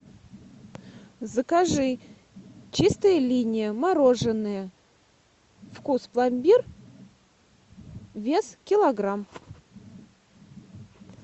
закажи чистая линия мороженое вкус пломбир вес килограмм